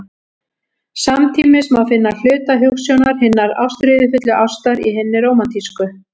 Samtímis má finna hluta hugsjónar hinnar ástríðufullu ástar í hinni rómantísku.